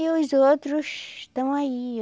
E os outros estão aí.